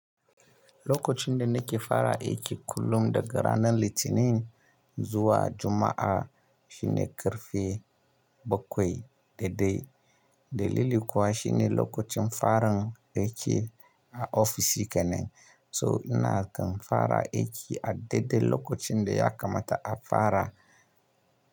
Lokacin da nake fara aiki kullum daga ranar Litinin zuwa Juma'a shine ƙarfe bakwai da dai dalili kuwa shine lokacin farin aiki a ofishi kenan. So ina kan fara aiki a daidai lokacin da ya kamata a fara.